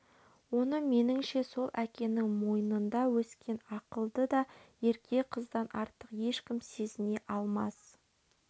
оны меніңше сол әкенің мойнында өскен ақылды да ерке қыздан артық ешкім сезіне алмас